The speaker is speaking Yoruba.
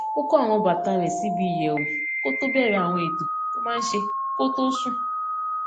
ó kó àwọn bàtà rẹ sí ibi ìyẹwù kó tó bẹrẹ àwọn ètò tó máa n ṣe kó tó sùn